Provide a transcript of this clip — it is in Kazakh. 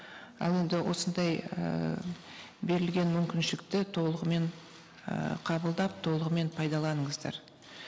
ал енді осындай ііі берілген мүмкіншілікті толығымен ііі қабылдап толығымен пайдаланыңыздар